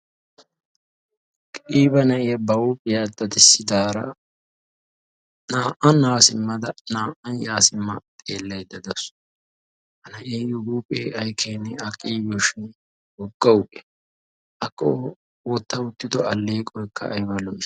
Qiiba na"iya ba huuphiya dadisidaara naa"an haa simmada naa"an yaa simma xeellayda dawus. Ha na'eeyo huuphee ay keene a qiibiyoshin wogga huuphiya. Akka wotta uttido alleeqoykka ayba lo'i.